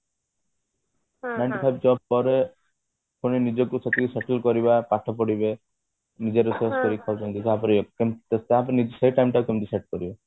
nine ତୋ five job ତାଙ୍କର ସେମାନେ ନିଜକୁ ସେତିକି settle କରିବା ପାଠ ପଢିବେ ନିଜେ ରୋଷେଇ କରି ଖାଉଛନ୍ତି ତାପରେ ନିଜେ ସେ time ଟାକୁ କେମତି set କରିବେ